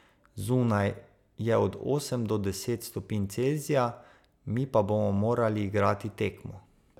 Zunaj je od osem do deset stopinj Celzija, mi pa bomo morali igrati tekmo.